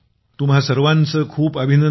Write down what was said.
तुम्हा सर्वांचे खूप खूप अभिनंदन